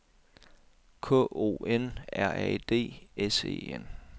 K O N R A D S E N